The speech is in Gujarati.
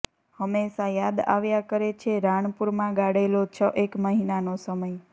હંમેશા યાદ આવ્યા કરે છે રાણપુરમાં ગાળેલો છએક મહિનાનો સમય